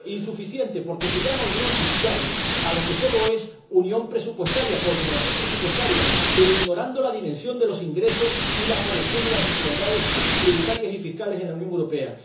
Insuficiente, porque se llama unión fiscal a lo que solo es unión presupuestaria, coordinación presupuestaria, pero ignorando la dimensión de los ingresos y la corrección de las desigualdades tributarias y fiscales en la Unión Europea.